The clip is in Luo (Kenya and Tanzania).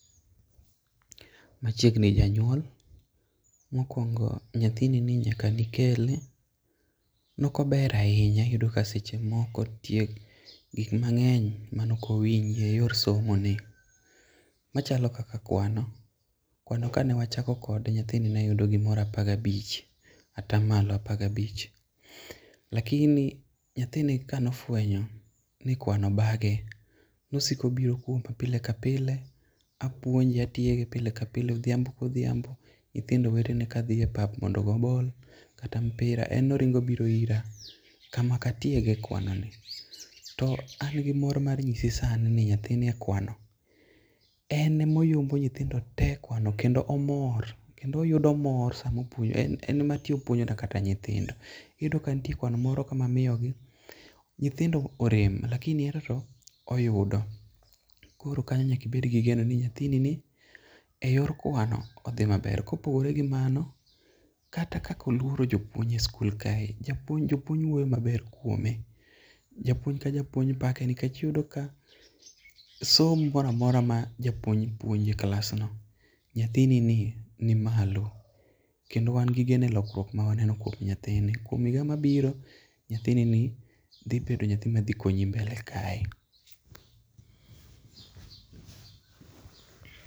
Machiegni Janyuol. Mokwongo, nyathini ni nyaka ne ikele, ne ok ober ahinya. Iyudo ka seche moko nitie gik mangény mane ok owinji e yor somoni. Machalo kaka kwano. Kwano ka ne wachako kode, nyathini ne yudo gimoro apar gi abich, ata malo apar gi abich. Lakini nyathini ka ne ofwenyo ni kwano bage, ne osiko obiro kuoma pile ka pile, apuonje, atiege pile ke pile. Odhiambo ka odhiambo, nyithindo wetene ka dhi e pap mondo ogo ball kata mpira, en ne oringo obiro ira, kama ka tiege kwanoni. To an gi mor mar nyisi sani ni nyathini e kwano, en ema oyombo nyithindo te e kwano kendo omor. Kendo oyudo mor sama en ema ti opuonjona kata nyithindo. Iyudo ka nitie kwano moro ka mamiyogi, nyithindo orem, lakini ento to oyudo. Koro kanyo nyaka ibed go geno ni, nyathini ni e yor kwano odhi maber. Ka opogore gi mano, kata kaka olworo jopuonj e sikul kae. Japuonj, jopuonj wuoyo maber kuome. Japuonj ka japuonj pake, nikech iyudo ka somo moro a mora ma japuonj puonjo e klasno, nyathini ni nimalo, kendo wan gi geno e lokruok ma waneno kuom nyathini. Kuom higa mabiro, nyathini ni dhibedo nyathi ma dhi konyi mbele kae.